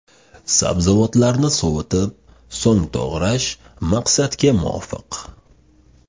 Sabzavotlarni sovitib, so‘ng to‘g‘rash maqsadga muvofiq.